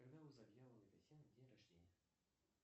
когда у завьяловой татьяны день рождения